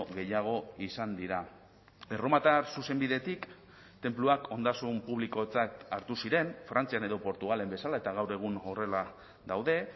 gehiago izan dira erromatar zuzenbidetik tenpluak ondasun publikotzat hartu ziren frantzian edo portugalen bezala eta gaur egun horrela daude